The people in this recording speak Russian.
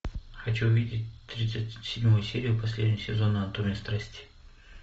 хочу увидеть тридцать седьмую серию последнего сезона анатомия страсти